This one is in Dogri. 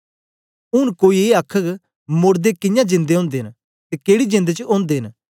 ऊँन कोई ए आखघ मोड़दे कियां जिंदे ओदे न ते केड़ी जेंद च औंदे न